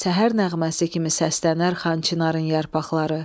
Səhər nəğməsi kimi səslənər Xan Çinarın yarpaqları.